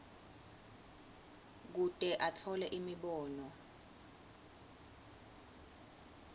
kute atfole imibono